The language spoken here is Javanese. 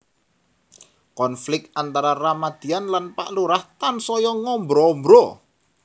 Konflik antara Ramadian lan Pak Lurah tansaya ngambra ambra